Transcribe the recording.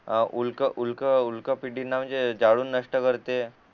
उलक उलक पीढीना म्हणजे जाळून नष्ट करते